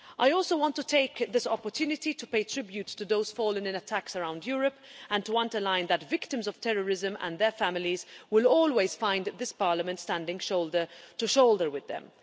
I also want to take this opportunity to pay tribute to those fallen in attacks around Europe, and to underline that victims of terrorism and their families will always find this Parliament standing shoulder-to-shoulder with them.